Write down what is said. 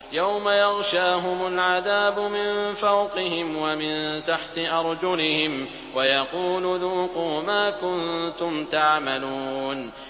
يَوْمَ يَغْشَاهُمُ الْعَذَابُ مِن فَوْقِهِمْ وَمِن تَحْتِ أَرْجُلِهِمْ وَيَقُولُ ذُوقُوا مَا كُنتُمْ تَعْمَلُونَ